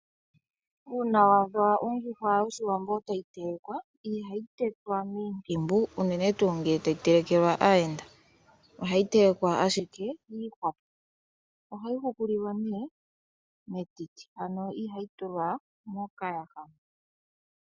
Uuna waadha ondjuhwa yOshiwambo tayi telekwa, ihayi tetwa miintimbu unene tuu ngele tayi telekwa aayenda . Ohayi telekwa ashike yiihwapo . Ohayi hukulilwa metiti, ano ihayi hukulilwa mokayaha.